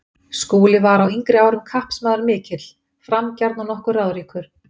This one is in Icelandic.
Skúli var á yngri árum kappsmaður mikill, framgjarn og nokkuð ráðríkur.